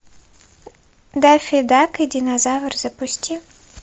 даффи дак и динозавр запусти